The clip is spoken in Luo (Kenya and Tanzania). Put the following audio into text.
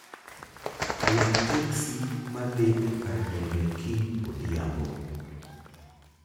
Buok teksi ma dhi e kar ndege kiny odhiambo